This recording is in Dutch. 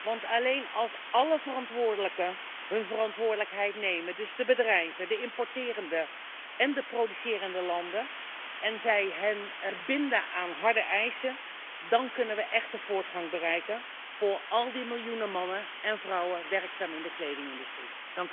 Want alleen als alle verantwoordelijken hun verantwoordelijkheid nemen, dus de bedrijven, de importerende en de producerende landen, en zij zich binden aan harde eisen, dan kunnen we echte voortgang bereiken voor al die miljoenen mannen en vrouwen die werkzaam zijn in de kledingindustrie.